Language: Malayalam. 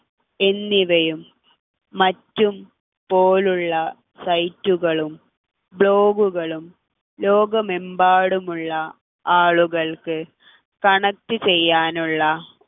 എന്നിവയും മറ്റും പോലുള്ള site കളും vlog കളും ലോകമമ്പാടുമുള്ള ആളുകൾക്ക് connect ചെയ്യാനുള്ള